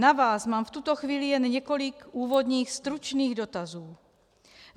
Na vás mám v tuto chvíli jen několik úvodních stručných dotazů.